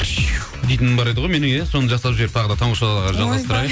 дейтінім бар еді ғой менің иә соны жасап жіберіп тағы да таңғы шоу жалғастырайық